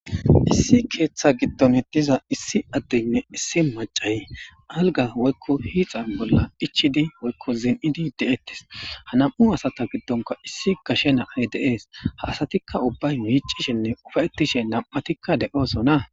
Issi keeththa gidonn diza issi adeyinne issi macay alga woyikko hiixaa bolla ichchid woyikko zin'id de'etes ha nam'u asata giddonimma gashshenay de'es ha asatikka micishshenne ufayetishshe de'osonna